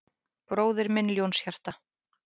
Bróðir minn Ljónshjarta